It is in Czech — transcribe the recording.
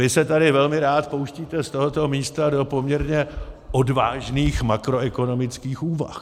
Vy se tady velmi rád pouštíte z tohoto místa do poměrně odvážných makroekonomických úvah.